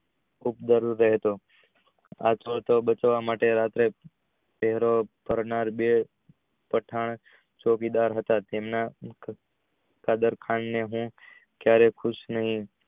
રહેતો આનાથી બચવા માટે રાતે બે પઠાણ ચોકીદાર હતા તેમના પઠાણ ને હું